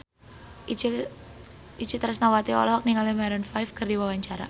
Itje Tresnawati olohok ningali Maroon 5 keur diwawancara